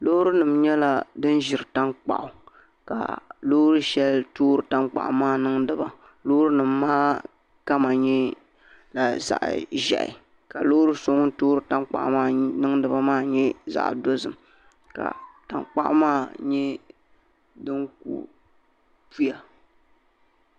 Loori nim nyɛla din ʒiri tankpaɣu ka loori shɛli toori tankpaɣu maa niŋdi ba Loori nim maa kama nyɛla zaɣ ʒiɛhi ka loori so ŋun toori tankpaɣu maa niŋdi ba maa nyɛ zaɣ dozim ka tankpaɣu maa nyɛ din ku puya